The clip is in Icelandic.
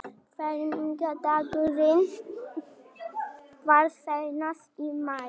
Fermingardagurinn var seinast í maí.